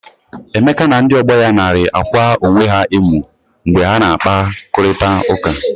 Emeka na ndi ọgbọ ya narị akwa onwe ha emu mgbe ha na akpa, kụrịta ụka.